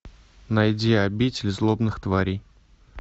найди обитель злобных тварей